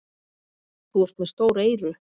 Þú ert með stór eyru.